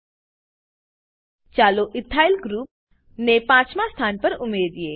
ચાલો ethyl group ethyl group ને પાંચમાં સ્થાન પર ઉમેરીએ